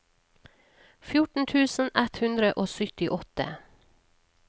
fjorten tusen ett hundre og syttiåtte